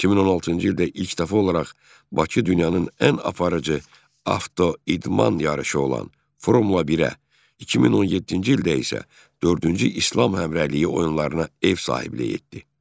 2016-cı ildə ilk dəfə olaraq Bakı dünyanın ən aparıcı avtoidman yarışı olan Formula 1-ə, 2017-ci ildə isə dördüncü İslam Həmrəyliyi oyunlarına ev sahibliyi etdi.